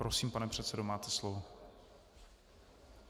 Prosím, pane předsedo, máte slovo.